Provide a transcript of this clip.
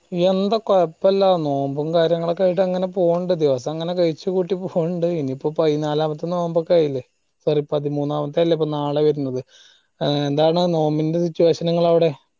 എന്താ കൊഴപ്പല്ല നോമ്പും കാര്യങ്ങളും ഒക്കെ ആയിട്ട് അങ്ങനെ പോണ്ട് ദിവസങ്ങനെ കഴിച്ച്കൂട്ടി പോണ്ട് ഇനി ഇപ്പൊ പയിനാലാമത്തെ നോമ്പൊക്കെ ആയില്ലേ പതിമൂന്നാമത്തെ അല്ലെ ഇപ്പൊ നാളെ വെരിന്നത് ഏർ എന്താണ് നോമ്പിന്റെ വിശേഷണങ്ങള് അവിടെ